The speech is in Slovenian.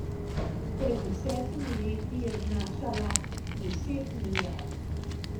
Pred desetimi leti je znašala deset milijard.